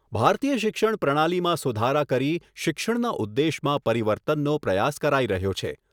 ભારતીય શિક્ષણ પ્રણાલીમાં સુધારા કરી શિક્ષણના ઉદ્દેશમાં પરિવર્તનનો પ્રયાસ કરાઈ રહ્યો છે.